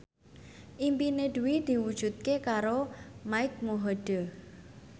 impine Dwi diwujudke karo Mike Mohede